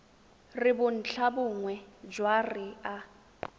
re bontlhabongwe jwa re a